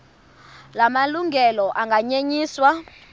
la malungelo anganyenyiswa